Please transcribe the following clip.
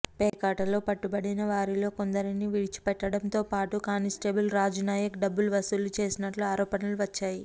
పేకాటలో పట్టుబడిన వారిలో కొందరిని విడిచిపెట్టడంతోపాటు కానిస్టేబుల్ రాజునాయక్ డబ్బులు వసూళ్లు చేసినట్లు ఆరోపణలు వచ్చా యి